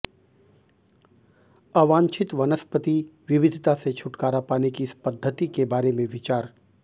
अवांछित वनस्पति विविधता से छुटकारा पाने की इस पद्धति के बारे में विचार